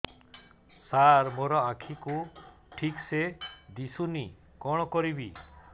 ସାର ମୋର ଆଖି କୁ ଠିକସେ ଦିଶୁନି କଣ କରିବି